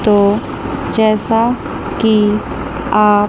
तो जैसा की आप--